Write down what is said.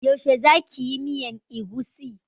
Yaushe za ki yi miyan egusi?